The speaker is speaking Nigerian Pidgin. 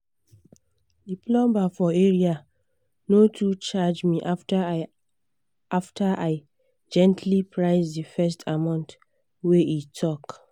the plumber for area no too charge me after i after i gently price the first amount wey e talk.